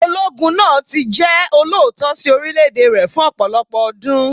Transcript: Ológun náà tí jẹ́ olóòótọ́ sí orílẹ̀ èdè rẹ̀ fún ọ̀pọ̀lọpọ̀ ọdún.